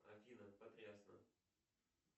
афина потрясно